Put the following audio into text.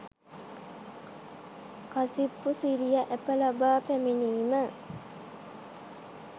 කසිප්පු සිරියා ඇප ලබා පැමිණීම